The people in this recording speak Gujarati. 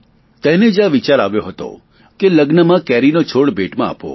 તેને જ આ વિચાર આવ્યો હતો અને લગ્નમાં કેરીનો છોડ ભેટમાં આપવો